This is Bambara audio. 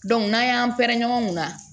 n'an y'an pɛrɛn-ɲɛn ɲɔgɔn na